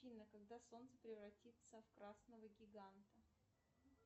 афина когда солнце превратится в красного гиганта